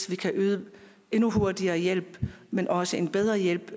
vi kan yde endnu hurtigere hjælp men også en bedre hjælp